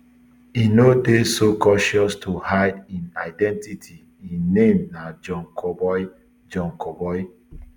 e no dey so cautious to hide im identity im name na john kaboi john kaboi